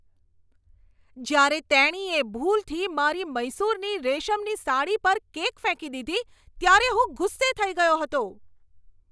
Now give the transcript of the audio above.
જ્યારે તેણીએ ભૂલથી મારી મૈસૂરની રેશમની સાડી પર કેક ફેંકી દીધી ત્યારે હું ગુસ્સે થઈ ગયો હતો.